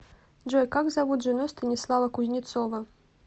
джой как зовут жену станислава кузнецова